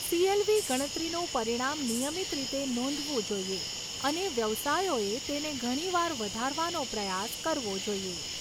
CLV ગણતરીનું પરિણામ નિયમિત રીતે નોંધવું જોઈએ અને વ્યવસાયોએ તેને ઘણીવાર વધારવાનો પ્રયાસ કરવો જોઈએ.